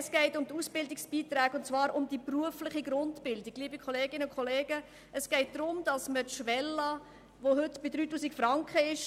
Es geht um die Ausbildungsbeiträge betreffend die berufliche Grundausbildung und die Schwelle von heute 3000 Franken.